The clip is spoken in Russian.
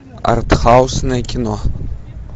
артхаусное кино